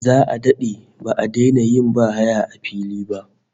Za'a dade ba'a daina yin bahaya a fili ba